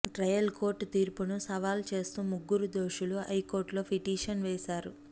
trial court తీర్పును సవాల్ చేస్తూ ముగ్గురు దోషులు హైకోర్టులో పిటిషన్ వేశారు